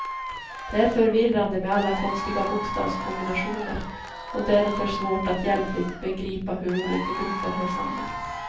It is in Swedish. Det är förvirrande med alla konstiga bokstavskombinationer och därför svårt att hjälpligt begripa hur olika grupper hör samman.